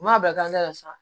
U man'a bila la sa